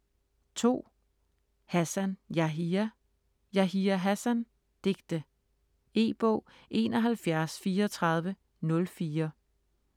Hassan, Yahya: Yahya Hassan: digte E-bog 713404